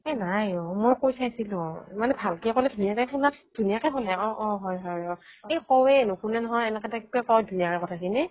এ নাইও মই কৈ চাইছিলো মানে ভালকৈ ক'লে ধুনীয়াকৈ শুনে অহ অহ হয় হয় অহ এই কওৱেই নুশুনে নহয় এনেকে তাক কওঁ ধুনীয়াকে কথা খিনি